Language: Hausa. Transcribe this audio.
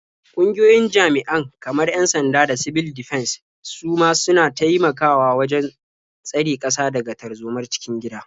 Ƙungiyoyin jami'an kamar 'yan-sanda da sibil difens su ma suna taimakawa wajen tsare ƙasa daga tarzomar cikin gida.